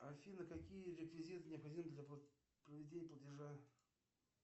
афина какие реквизиты необходимы для проведения платежа